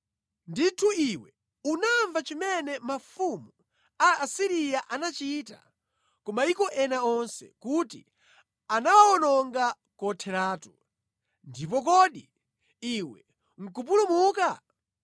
Ndithu iwe unamva chimene mafumu a Asiriya anachita ku mayiko ena onse, kuti anawawononga kotheratu. Ndipo kodi iwe nʼkupulumuka?